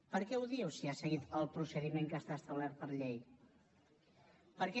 per què ho diu si ha seguit el procediment que està establert per llei per què